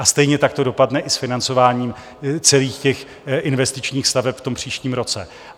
A stejně tak to dopadne i s financováním celých těch investičních staveb v tom příštím roce.